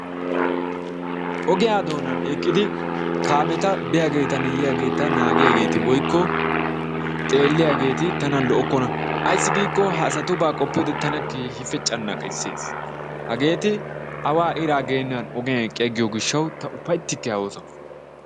Ogiya doonaan eqqidi kaameetta biyageetanne yiyageeta naagiyageti woykko xeeliyageti tana lo'okkona. Ayissi giiko ha asatubba qoppiyode tana keehippe canqqises, hageeti awa iraa geenan eqqi agiyo gishshawu uppayttike ha oosuwan.